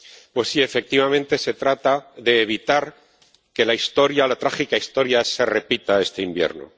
pues sí, efectivamente, se trata de evitar que la historia, la trágica historia se repita este invierno.